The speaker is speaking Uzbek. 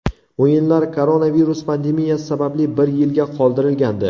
O‘yinlar koronavirus pandemiyasi sababli bir yilga qoldirilgandi.